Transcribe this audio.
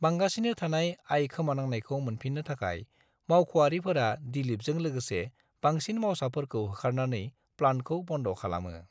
बांगासिनो थानाय आय खोमानांनायखौ मोनफिननो थाखाय मावख’आरिफोरा दिलीपजों लोगोसे बांसिन मावसाफोरखौ होखारनानै प्लान्टखौ बन्द' खालामो।